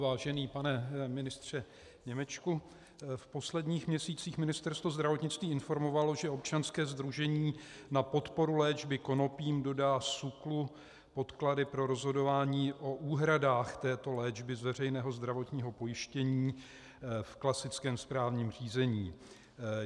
Vážený pane ministře Němečku, v posledních měsících Ministerstvo zdravotnictví informovalo, že občanské sdružení na podporu léčby konopím dodá SÚKLu podklady pro rozhodování o úhradách této léčby z veřejného zdravotního pojištění v klasickém správním řízení.